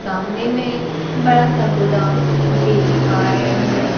सामने में एक बड़ा सा गोदाम देख पा रही हूं।